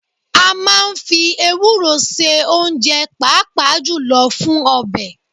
A máa ń fi ewúro se oúnjẹ, pàápàá jùlọ fún ọbẹ̀